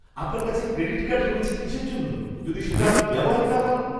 আপনার কাছে credit card রয়েছে কিসের জন্য যদি সেটা আপনি ব্যবহারই না করেন?